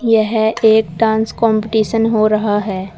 यह एक dance competition हो रहा है।